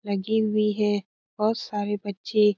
लगी हुई है बहोत सारे बच्चे --